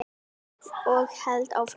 Og hélt áfram